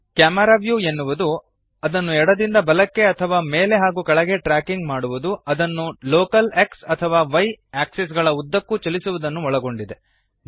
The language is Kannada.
ಕ್ಯಾಮೆರಾ ವ್ಯೂ ಅನ್ನು ಎಡದಿಂದ ಬಲಕ್ಕೆ ಅಥವಾ ಮೇಲೆ ಹಾಗೂ ಕೆಳಗೆ ಟ್ರ್ಯಾಕಿಂಗ್ ಮಾಡುವದು ಅದನ್ನು ಲೋಕಲ್ X ಅಥವಾ Y ಆಕ್ಸಿಸ್ ಗಳ ಉದ್ದಕ್ಕೂ ಚಲಿಸುವದನ್ನು ಒಳಗೊಂಡಿದೆ